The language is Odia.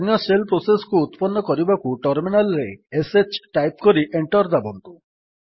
ଅନ୍ୟ ଶେଲ୍ ପ୍ରୋସେସ୍ କୁ ଉତ୍ପନ୍ନ କରିବାକୁ ଟର୍ମିନାଲ୍ ରେ ଶ୍ ଟାଇପ୍ କରି ଏଣ୍ଟର୍ ଦାବନ୍ତୁ